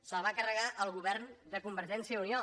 se’l va carregar el govern de convergència i unió